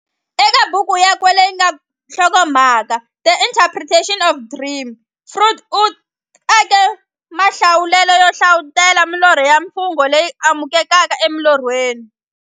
Eka buku yakwe leyi nga na nhlokomhaka The Interpretation of Dreams, Freud u ake mahlahluvele yo hlavutela milorho na mimfungo leyi kumekaka emilorhweni.